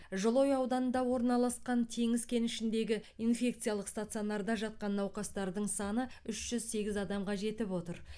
жылыой ауданында орналасқан теңіз кенішіндегі инфекциялық стационарда жатқан науқастардың саны үш жүз сегіз адамға жетіп отыр